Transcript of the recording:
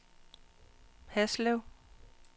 Haslev